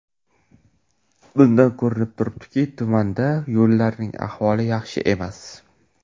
Bundan ko‘rinib turibdiki, tumanda yo‘llarning ahvoli yaxshi emas.